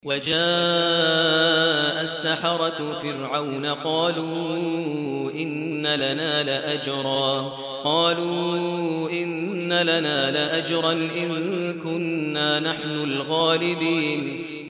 وَجَاءَ السَّحَرَةُ فِرْعَوْنَ قَالُوا إِنَّ لَنَا لَأَجْرًا إِن كُنَّا نَحْنُ الْغَالِبِينَ